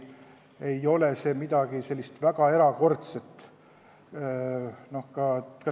See ei ole midagi väga erakordset.